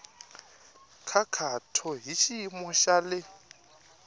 nkhaqato hi xiyimo xa le